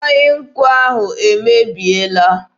Mmanya nkwụ ahụ emebiela.